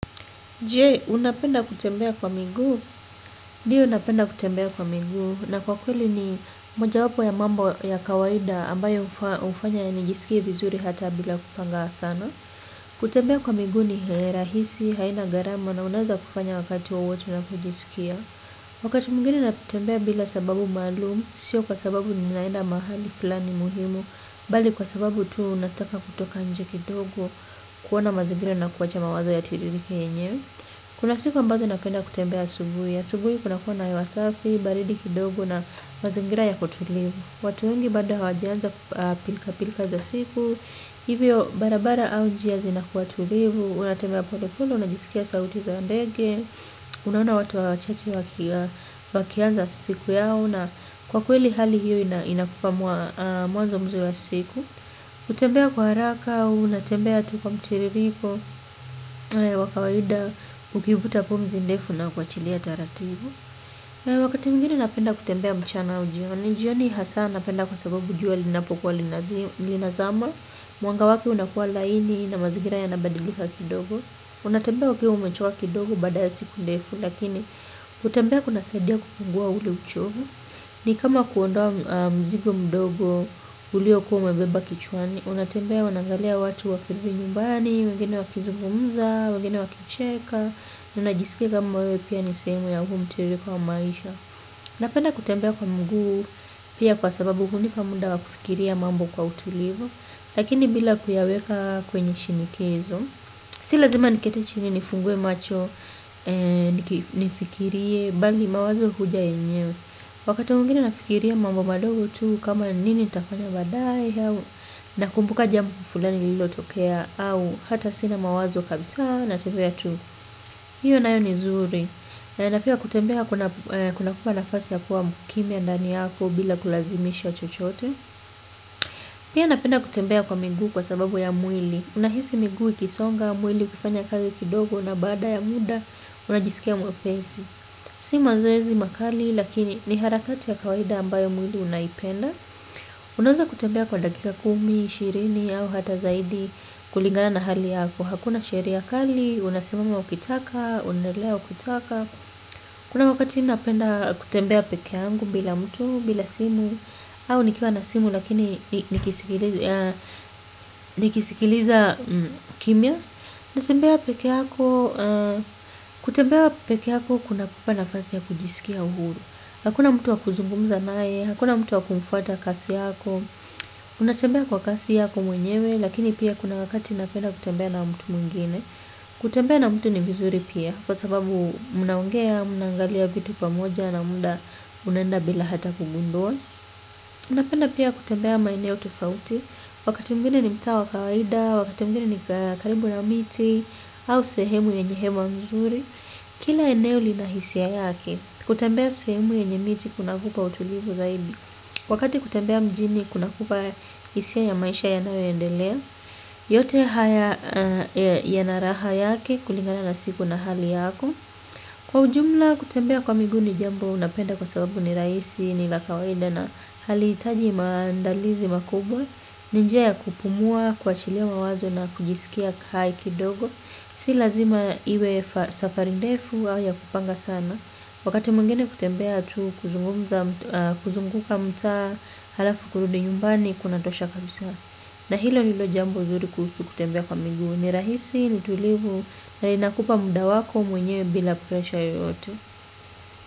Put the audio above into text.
Je, unapenda kutembea kwa miguu? Ndiyo napenda kutembea kwa miguu. Na kwa kweli ni moja wapo ya mambo ya kawaida ambayo hufanya nijisikie vizuri hata bila kupanga sana. Kutembea kwa miguu ni rahisi, haina, gharama na unaweza kufanya wakati wowote unapojisikia. Wakati mwingine ninatembea bila sababu maalumu, sio kwa sababu ninaenda mahali fulani muhimu. Bali kwa sababu tu nataka kutoka nje kidogo, kuona mazingira na kuwacha mawazo yatiririke yenyewe. Kuna siku ambazo napenda kutembea asubuhi. Asubuhi kuna kuwa na hewa safi, baridi kidogo na mazingira ya kutulia. Watu wengi bado hawajaanza pilka pilka za siku. Hivyo barabara au njia zinakuwa tulivu. Unatembea polepole, unajisikia sauti za ndege. Unaona watu wachache wakianza siku yao. Kwa kweli hali hiyo inakupa mwanzo mzuri wa siku. Kutembea kwa haraka, unatembea tu kwa mtiririko. Wa kawaida ukivuta pumzi ndefu na kuachilia taratibu wakati mwingine napenda kutembea mchana au jioni, jioni hasa napenda kwa sababu jua linapokuwa linazama mwanga wake unakuwa laini na mazingira yanabadilika kidogo unatembea ukiwa umechoka kidogo baada ya siku ndefu lakini kutembea kuna saidia kupunguza ule uchovo ni kama kuondoa mzigo mdogo ulio kuwa umebeba kichwani. Unatembea unaangalia watu wakirudi nyumbani, wengine wakizungumza, wengine wakicheka, unajisikia kama wewe pia ni sehemu ya huu mtiririko wa maisha. Napenda kutembea kwa miguu pia kwa sababu hunipa muda wa kufikiria mambo kwa utulivu, lakini bila kuyaweka kwenye shinikizo. Si lazima niketi chini nifungue macho, ni fikirie, bali mawazo huja yenyewe. Wakati mwingine nafikiria mambo mambo madogo tu kama nini nitafanya baadaye, nakumbuka jambo fulani lililotokea au hata sina mawazo kabisa natembea tu hiyo nayo ni zuri na pia kutembea kuna kupa nafasi ya kuwa mkimia ndani yako bila kulazimisha chochote pia napenda kutembea kwa miguu kwa sababu ya mwili unahisi miguu ikisonga mwili kufanya kazi kidogo na baada ya muda unajisikia mwepesi si mazoezi makali lakini ni harakati ya kawaida ambayo mwili unaipenda. Unaweza kutembea kwa dakika kumi, ishirini au hata zaidi kulingana na hali yako. Hakuna sheria kali, unasimama ukitaka, unaendelea ukitaka. Kuna wakati napenda kutembea peke yangu bila mtu, bila simu, au nikiwa na simu lakini nikisikiliza kimya. Kutembea peke yako kuna kupa nafasi ya kujisikia huru. Hakuna mtu wa kuzungumuza naye, hakuna mtu wa kumfuata kasi yako. Unatembea kwa kasi yako mwenyewe, lakini pia kuna wakati napenda kutembea na mtu mwingine. Kutembea na mtu ni vizuri pia, kwa sababu mnaongea, mnaangalia vitu pamoja na muda unaenda bila hata kugundua. Napenda pia kutembea maeneo tofauti. Wakati mwingine ni mtaa wa kawaida, wakati mwingine ni karibu na miti, au sehemu yenye hewa mzuri. Kila eneo linahisia yake. Kutembea sehemu yenye miti kuna kupa utulivu zaidi. Wakati kutembea mjini kuna kupa hisia ya maisha yanayoendelea. Yote haya yana raha yake kulingana na siku na hali yako. Kwa ujumla kutembea kwa miguu ni jambo napenda kwa sababu ni rahisi ni la kawaida na hali hitaji maandalizi makubwa. Ni njia ya kupumua kuachilia mawazo na kujisikia hai kidogo. Si lazima iwe safari ndefu au ya kupanga sana. Wakati mwingine kutembea tu kuzunguka mtaa halafu kurudi nyumbani kuna tosha kabisa. Na hilo ndilo jambo zuri kuhusu kutembea kwa miguu ni rahisi ni tulivu na inakupa muda wako mwenyewe bila presha yoyote.